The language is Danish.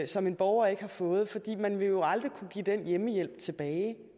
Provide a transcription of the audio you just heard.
som en borger ikke har fået for man vil jo aldrig kunne give den hjemmehjælp tilbage